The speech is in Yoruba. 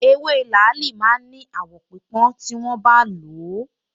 Ewé làálì máa ń ní àwọ̀ pípọ́n tí wọ́n bá ń lò ó